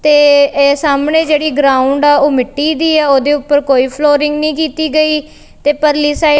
ਤੇ ਇਹ ਸਾਹਮਣੇ ਜਿਹੜੀ ਗਰਾਊਂਡ ਆ ਉਹ ਮਿੱਟੀ ਦੀ ਆ ਉਹਦੇ ਉੱਪਰ ਕੋਈ ਫਲੋਰਿੰਗ ਨਹੀਂ ਕੀਤੀ ਗਈ ਤੇ ਪਰਲੀ ਸਾਈਡ --